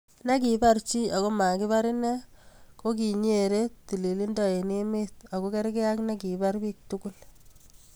Ne kibar chii ako makibar inee ko kinyere tililindo eng emee ako kerkei ak nekibar biiiktugul.